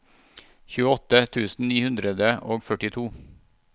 tjueåtte tusen ni hundre og førtito